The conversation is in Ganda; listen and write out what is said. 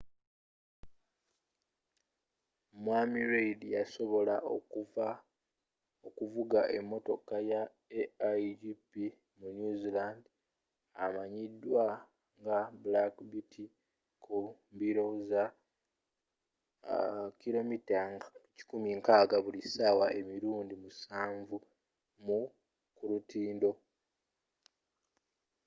mwami reid yasobola okuvuga emmotoka ya aigp wa new zealand emanyidwa nga black beauty ku mbiro za 160km/h emirundi musanvu ku lutindo